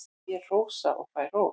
Ég hrósa og fæ hrós.